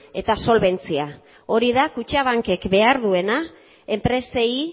eta solbentzia hori da kutxabankek behar duena enpresei